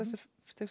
stigs